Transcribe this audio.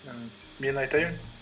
і мен айтайын